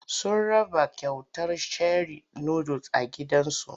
Sun raba kyautar sheri nudul a gidan zu.